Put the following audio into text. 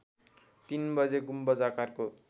३ बजे गुम्बज आकारको